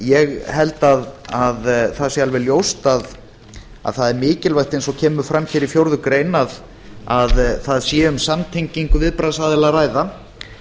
ég held að það sé alveg ljóst að það er mikilvægt eins og kemur fram hér í fjórða grein að það sé um samtengingu viðbragðsaðila að ræða